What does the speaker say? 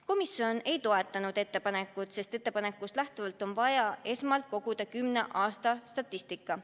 Komisjon ei toetanud ettepanekut, sest ettepanekust lähtuvalt on vaja esmalt koguda kümne aasta statistika.